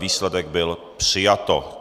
Výsledek: bylo přijato.